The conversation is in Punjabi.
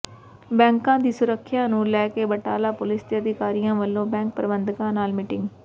ਬੈਂਕਾਂ ਦੀ ਸੁਰੱਖਿਆ ਨੂੰ ਲੈ ਕੇ ਬਟਾਲਾ ਪੁਲਿਸ ਦੇ ਅਧਿਕਾਰੀਆਂ ਵਲੋਂ ਬੈਂਕ ਪ੍ਰਬੰਧਕਾਂ ਨਾਲ ਮੀਟਿੰਗ